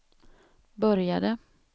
började